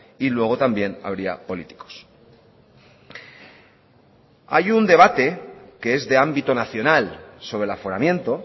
y luego también habría políticos hay un debate que es de ámbito nacional sobre el aforamiento